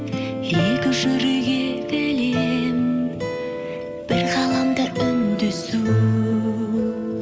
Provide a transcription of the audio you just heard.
екі жүрек егіле бір ғаламда үндесу